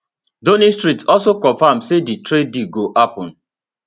downing street also confam say di trade deal go happun